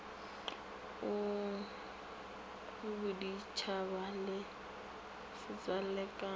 a boditšhaba le setswalle ka